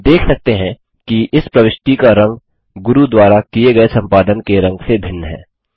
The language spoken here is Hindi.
हम देख सकते हैं कि इस प्रविष्टि का रंग गुरू द्वारा किये गये संपादन के रंग से भिन्न है